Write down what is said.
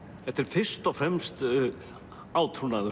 þetta er fyrst og fremst